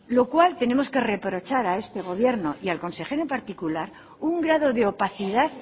lo cual tenemos que reprochar a este gobierno y el consejero en particular un grado de opacidad